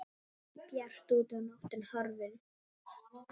Bjart úti og nóttin horfin.